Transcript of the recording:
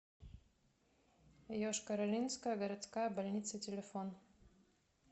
йошкар олинская городская больница телефон